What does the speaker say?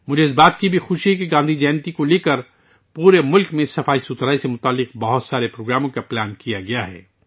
مجھے اس بات کی بھی خوشی ہے کہ گاندھی جینتی پر ملک بھر میں صفائی ستھرائی سے متعلق کئی پروگراموں کی منصوبہ بندی کی گئی ہے